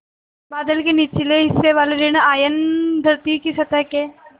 बादल के निचले हिस्से वाले ॠण आयन धरती की सतह के